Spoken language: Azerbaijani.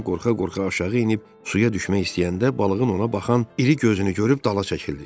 Lam qorxa-qorxa aşağı enib suya düşmək istəyəndə, balığın ona baxan iri gözünü görüb dala çəkildi.